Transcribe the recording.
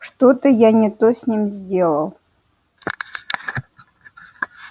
что-то я не то с ним сделал